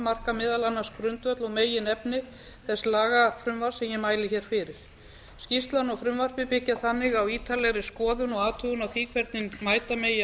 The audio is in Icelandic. marka meðal annars grundvöll og meginefni þess lagafrumvarps sem ég mæli hér fyrir skýrslan og frumvarpið byggja þannig á ítarlegri skoðun og athugun á því hvernig mæta megi